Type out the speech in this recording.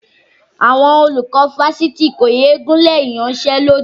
Àwọn olùkọ́ fásitì kò yé gùnlé ìyanṣẹ́lódì